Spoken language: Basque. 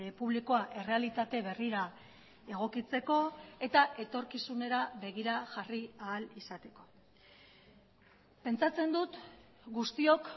publikoa errealitate berrira egokitzeko eta etorkizunera begira jarri ahal izateko pentsatzen dut guztiok